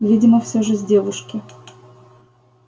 видимо всё же с девушки